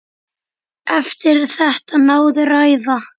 Eftir þetta náði ræða